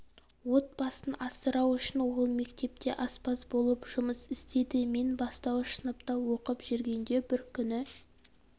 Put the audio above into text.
отбасын асырау үшін ол мектепте аспаз болып жұмыс істеді мен бастауыш сыныпта оқып жүргенде бір күні